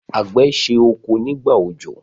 àgbẹ̀ se oko nígbà òjò.